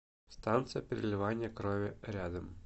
станция переливания крови рядом